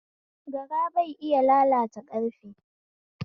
Gara bai iya lalata karfe